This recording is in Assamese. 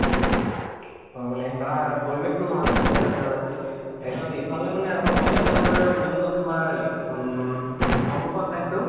অ মানে খিনে পৰিৱেশটো ভাল আছিলে, তাৰপিছত। ইফালে মানে আমাৰ college ৰ যোনটো তোমাৰ ইফ উম সন্মুখৰ side টো